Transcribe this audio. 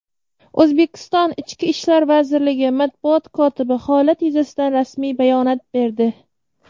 O‘zbekiston Ichki ishlar vazirligi Matbuot kotibi holat yuzasidan rasmiy bayonot berdi.